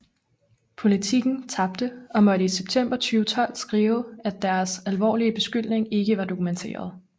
Politiken tabte og måtte i september 2012 skrive at deres alvorlige beskyldning ikke var dokumenteret